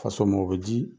Faso mɔ o bɛ di